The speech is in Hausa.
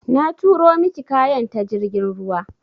Na turo miki kayan ta jirgin ruwa.